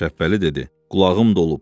Şəbbəli dedi: qulağım dolub.